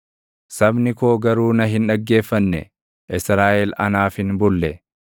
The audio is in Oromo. “Sabni koo garuu na hin dhaggeeffanne; Israaʼel anaaf hin bulle.